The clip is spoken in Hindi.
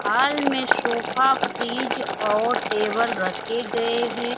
हाल में सोफा फ्रिज और टेबल रखे गए हैं।